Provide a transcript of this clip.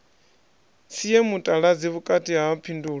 sie mutaladzi vhukati ha phindulo